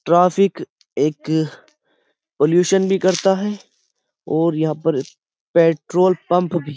Traffic एक pollution भी करता है और यहाँ पर पेट्रोल पंप भी।